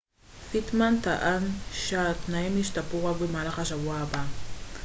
פיטמן טען שהתנאים ישתפרו רק במהלך השבוע הבא